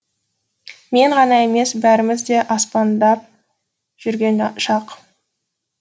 мен ғана емес бәріміз де аспандап жүрген шақ